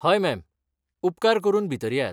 हय, मॅम, उपकार करून भितर येयात.